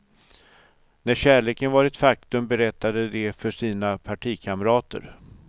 När kärleken var ett faktum berättade de för sina partikamrater.